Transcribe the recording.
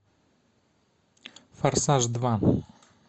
форсаж два